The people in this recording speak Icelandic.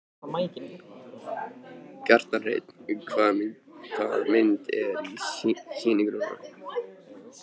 Kjartan Hreinn: Hvaða mynd er í sýningu núna?